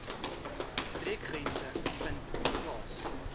streekgrense vind plaas